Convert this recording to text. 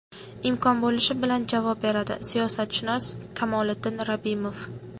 imkon bo‘lishi bilan javob beradi – siyosatshunos Kamoliddin Rabbimov.